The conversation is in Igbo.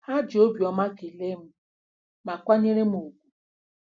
Ha ji obiọma kelee m, ma kwanyere m ùgwù.